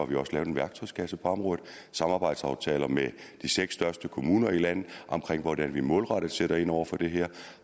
vi også lavet en værktøjskasse på området samarbejdsaftaler med de seks største kommuner i landet om hvordan vi målrettet sætter ind over for det her